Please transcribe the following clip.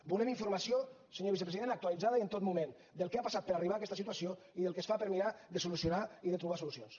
volem informació senyor vicepresident actualitzada i en tot moment del que ha passat per arribar a aquesta situació i del que es fa per mirar de solucionar i de trobar solucions